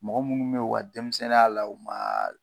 Mɔgɔ minnu be yen u ka denmisɛnninya la o ma